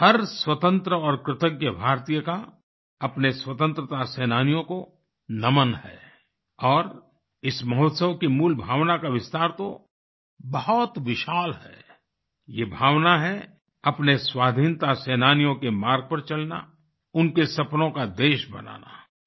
हर स्वतंत्र और कृतज्ञ भारतीय का अपने स्वतंत्रता सेनानियों को नमन है और इस महोत्सव की मूल भावना का विस्तार तो बहुत विशाल है ये भावना है अपने स्वाधीनता सेनानियों के मार्ग पर चलना उनके सपनों का देश बनाना